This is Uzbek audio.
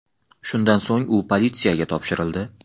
Shundan so‘ng u politsiyaga topshirildi.